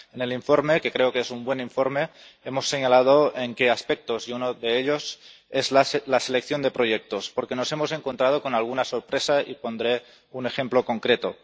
En el informe, que creo que es un buen informe, hemos señalado en qué aspectos, y uno de ellos es la selección de proyectos, porque nos hemos encontrado con alguna sorpresa, y pondré un ejemplo concreto.